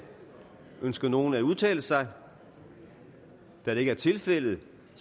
ønsker nogen at udtale sig da det ikke er tilfældet